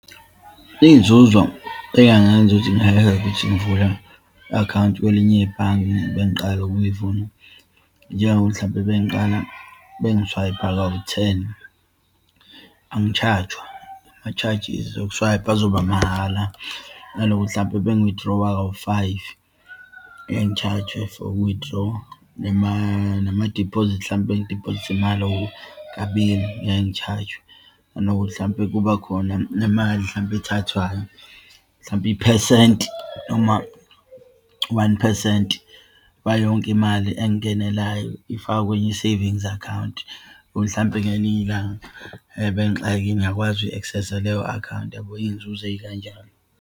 Iyinzuzo eyingangenza ukuthi ngake ngithi ngivula i-akhawunti kwelinye ibhange, bengiqala ukuyivula, njengokuthi mhlampe bengiqala bengiswayipha kawu-ten, angitshajwa, amatshajisi okuswayipha azoba mahala. Nalokuthi, hlampe uma ngi-withdraw-a kawu-five, ngeke ngitshajwe for uku-withdraw-a, namadiphozithi, hlampe ngidiphozithe imali okukabili, ngeke ngitshajwe. Nanokuthi, hlampe kuba khona nemali, hlampe ethathwayo, hlampe iphesenti, noma one phesenti wayonke imali engingenelayo ifakwa kwenye i-savings account. Ukuthi hlampe, ngelinye ilanga bengixakekile, ngiyakwazi akuyi-access-a leyo akhawunti, yabo iyinzuzo eyikanjalo.